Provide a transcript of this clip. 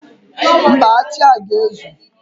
Mba, achị a ga-ezu.